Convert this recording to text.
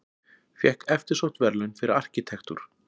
Fékk eftirsótt verðlaun fyrir arkitektúr